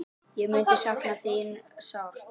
Ég mun sakna þín sárt.